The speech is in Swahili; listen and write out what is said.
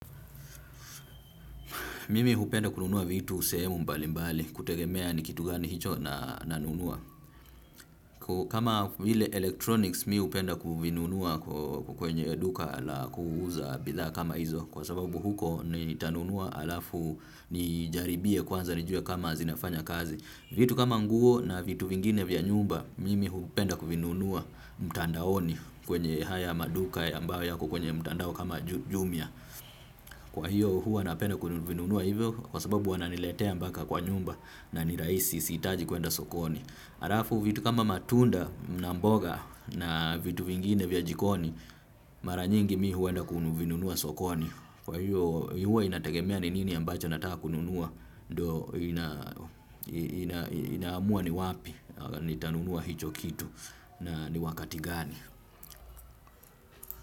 Mimi hupenda kununua vitu sehemu mbalimbali, kutegemea ni kitu gani hicho nanunua. Kama vile electronics, mi hupenda kuvinunua kwenye duka la kuuza bidha kama hizo. Kwa sababu huko nitanunua alafu nijaribie kwanza nijue kama zinafanya kazi. Vitu kama nguo na vitu vingine vya nyumba, mimi hupenda kuvinunua mtandaoni kwenye haya maduka ambayo yako kwenye mtandao kama jumia. Kwa hiyo huwa napena kuvinunua hivyo kwa sababu wananiletea mpaka kwa nyumba na nii rahisi sihitaji kuenda sokoni alafu vitu kama matunda na mboga na vitu vingine vya jikoni mara nyingi mi huwa na kuvinunua sokoni. Kwa hiyo huwa inategemea ni nini ambacho nataka kununua ndio ina inaamua ni wapi ni tanunua hicho kitu na ni wakati gani.